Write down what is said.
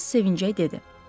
Home sevincəklə dedi.